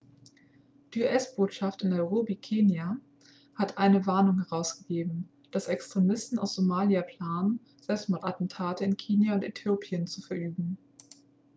die us-botschaft in nairobi kenia hat eine warnung herausgegeben dass extremisten aus somalia planen selbstmordattentate in kenia und äthiopien zu verüben